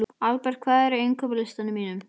Alberta, hvað er á innkaupalistanum mínum?